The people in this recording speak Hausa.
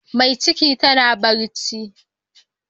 Mai ciki tana bacci.